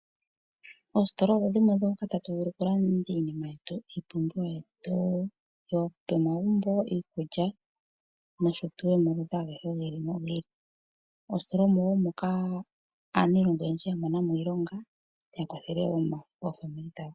Oositola odho dhimwe moka tatu vulu oku landa iinima yetu iipumbiwa yetu yomomagumbo ngaashi iikulya nosho tuu yomaludhi aluhe gi ili nogi ili. Oositola omo woo moka aniilonga oyendji ya mona iilonga ya kwathele oofamili dhawo.